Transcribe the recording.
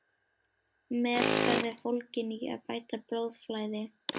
Meðferð er fólgin í að bæta blóðflæði.